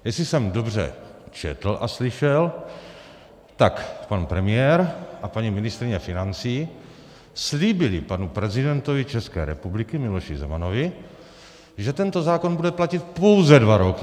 Jestli jsem dobře četl a slyšel, tak pan premiér a paní ministryně financí slíbili panu prezidentovi České republiky Miloši Zemanovi, že tento zákon bude platit pouze dva roky.